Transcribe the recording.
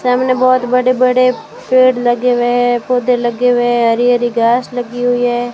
सामने बहुत बड़े-बड़े पेड़ लगे हुए हैं पौधे लगे हुए हैं हरी हरी घास लगी हुई है।